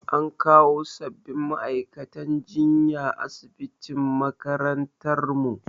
An kawo sabbin ma'aikatan jinya asibitin makarantar mu